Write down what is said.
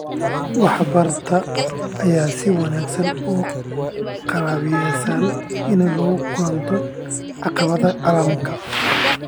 wax bartay ayaa si wanaagsan ugu qalabaysan inay la kulanto caqabadaha caalamka.